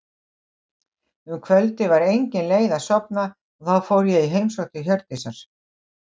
Um kvöldið var engin leið að sofna og þá fór ég í heimsókn til Hjördísar.